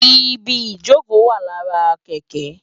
Ibi ijókö wá làrá kèkè